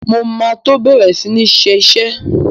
Mo máa tó bẹ̀rẹ̀ sí ní iṣẹ́.